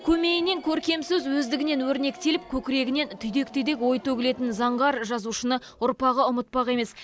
көмейінен көркем сөз өздігінен өрнектеліп көкірегінен түйдек түйдек ой төгілетін заңғар жазушыны ұрпағы ұмытпақ емес